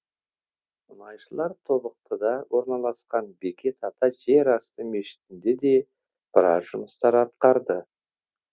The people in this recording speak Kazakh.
мұнайшылар тобықтыда орналасқан бекет ата жерасты мешітінде де біраз жұмыстар атқарды